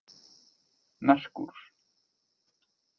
Merkúr